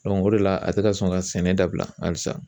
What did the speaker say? o de la a tɛ ka sɔn ka sɛnɛ dabila halisa